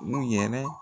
U yɛrɛ